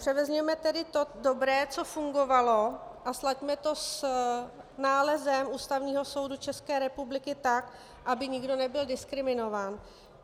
Převezměme tedy to dobré, co fungovalo, a slaďme to s nálezem Ústavního soudu České republiky tak, aby nikdo nebyl diskriminován.